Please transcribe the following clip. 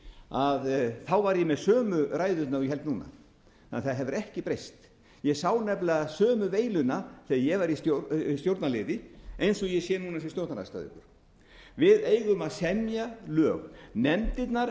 fjórtán þá var ég með sömu ræðuna og ég held núna þannig að það hefur ekki breyst ég sá nefnilega sömu veiluna þegar ég var í stjórnarliði eins og ég sé núna sem stjórnarandstæðingur við eigum að semja lög nefndirnar